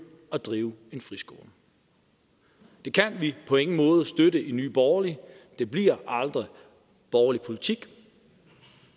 at drive en friskole det kan vi på ingen måder støtte i nye borgerlige og det bliver aldrig borgerlig politik